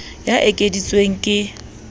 ya e ekeditsweng ke s